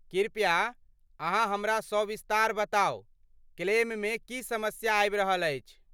कृपया , अहाँ हमरा सविस्तार बताउ, क्लेममे की समस्या आबि रहल अछि?